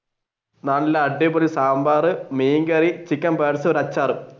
നല്ല അടിപൊളി സാമ്പാർ മീൻ കരി ചിക്കൻ വറുത്തത് അച്ചാർ.